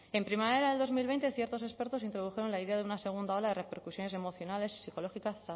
en primavera del dos mil veinte ciertos expertos introdujeron la idea de una segunda ola de repercusiones emocionales y psicológicas